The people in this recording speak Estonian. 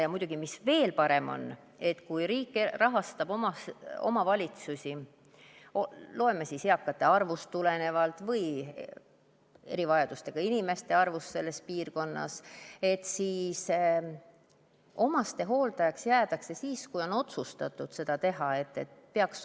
Ja muidugi oleks veel parem, kui riik rahastab omavalitsusi eakate arvust või erivajadustega inimeste arvust tulenevalt ja omastehooldajaks jäädakse siis, kui on otsustatud seda teha.